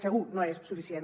segur no és suficient